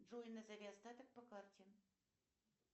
джой назови остаток по карте